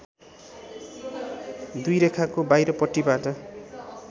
दुई रेखाको बाहिरपट्टिबाट